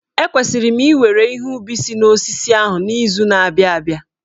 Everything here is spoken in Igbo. Ekwesịrị m iwere ihe ubi si n'osisi ahụ n'izu na-abịa abịa.